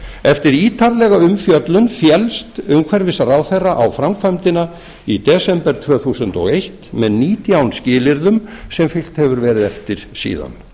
eftir ítarlega umfjöllun féllst umhverfisráðherra á framkvæmdina í desember tvö þúsund og eitt með nítján skilyrðum sem fylgt hefur verið eftir síðan